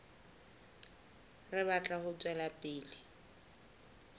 re batla ho tswela pele